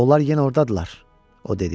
Onlar yenə ordadırlar, o dedi.